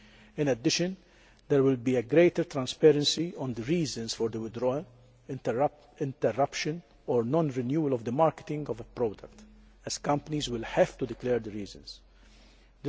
In addition, there will be greater transparency of the reasons for the withdrawal, interruption or non renewal of the marketing of a product, as companies will have to declare the reasons for these.